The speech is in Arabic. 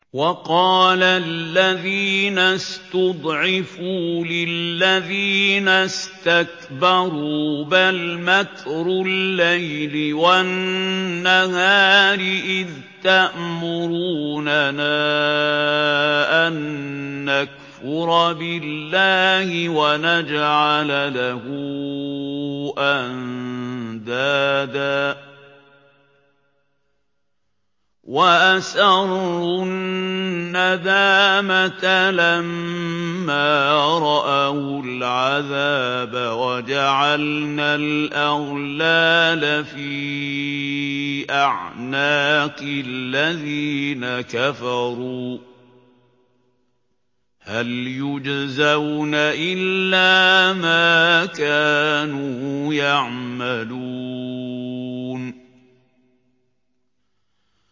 وَقَالَ الَّذِينَ اسْتُضْعِفُوا لِلَّذِينَ اسْتَكْبَرُوا بَلْ مَكْرُ اللَّيْلِ وَالنَّهَارِ إِذْ تَأْمُرُونَنَا أَن نَّكْفُرَ بِاللَّهِ وَنَجْعَلَ لَهُ أَندَادًا ۚ وَأَسَرُّوا النَّدَامَةَ لَمَّا رَأَوُا الْعَذَابَ وَجَعَلْنَا الْأَغْلَالَ فِي أَعْنَاقِ الَّذِينَ كَفَرُوا ۚ هَلْ يُجْزَوْنَ إِلَّا مَا كَانُوا يَعْمَلُونَ